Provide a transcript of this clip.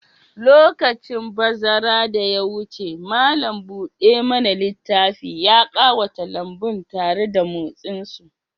Lokacin bazara da ya wuce, malam buɗe mana littafi ya ƙawata lambun tare da motsin su.